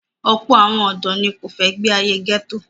Ọ̀pọ̀ àwọn ọ̀dọ́ ni kò fẹ́ gbé ayé gẹ́tò.